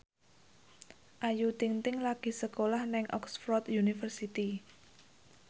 Ayu Ting ting lagi sekolah nang Oxford university